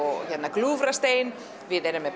Gljúfrastein við erum með